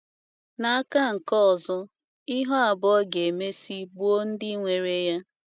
N’aka nke ọzọ, ihu abụọ ga - emesị gbuo ndị nwere ya.